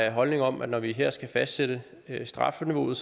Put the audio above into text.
en holdning om at når vi her skal fastsætte strafniveauet